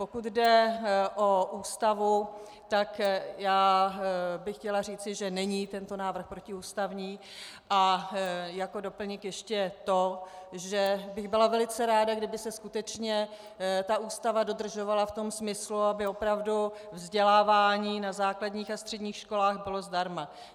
Pokud jde o Ústavu, tak já bych chtěla říci, že není tento návrh protiústavní, a jako doplněk ještě to, že bych byla velice ráda, kdyby se skutečně ta Ústava dodržovala v tom smyslu, aby opravdu vzdělávání na základních a středních školách bylo zdarma.